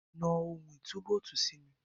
Na ohun ìtúbóòtì sí mi.